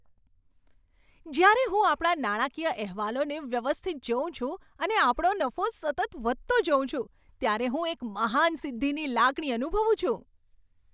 જ્યારે હું આપણા નાણાકીય અહેવાલોને વ્યવસ્થિત જોઉં છું અને આપણો નફો સતત વધતો જોઉં છું, ત્યારે હું એક મહાન સિદ્ધિની લાગણી અનુભવું છું.